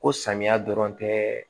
Ko samiya dɔrɔn tɛ